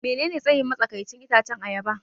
Menene tsayin matsakaicin itacen ayaba?